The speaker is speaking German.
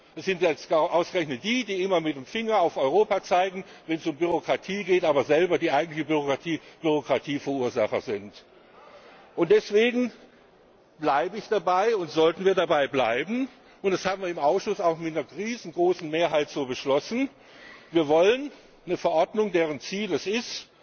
das sind ausgerechnet die, die immer mit dem Finger auf Europa zeigen, wenn es um Bürokratie geht, aber selber die eigentlichen Bürokratieverursacher sind. Deswegen bleibe ich dabei und sollten wir dabei bleiben, und das haben wir im Ausschuss auch mit einer riesengroßen Mehrheit so beschlossen Wir wollen eine Verordnung, deren Ziel es